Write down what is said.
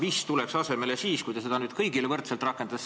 Aga mis tuleks asemele, kui te selle kõigile võrdseks muudaks?